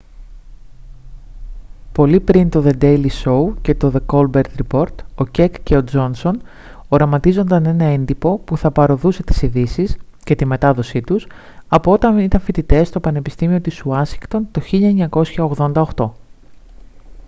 πολύ πριν το δε ντέιλι σόου και το δε κόλμπερτ ριπόρτ ο κεκ και ο τζόνσον οραματίζονταν ένα έντυπο που θα παρωδούσε τις ειδήσεις και τη μετάδοσή τους από όταν ήταν φοιτητές στο πανεπιστήμιο της ουάσιγκτον το 1988